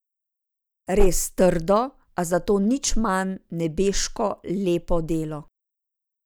Res trdo, a zato nič manj nebeško lepo delo.